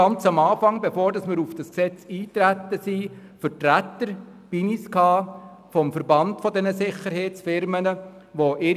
Bevor wir auf dieses Gesetz eintraten, waren Vertreter des Verbands dieser Sicherheitsunternehmen bei uns.